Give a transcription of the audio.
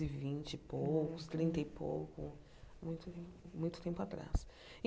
e vinte e poucos, trinta e pouco, muito muito tempo atrás.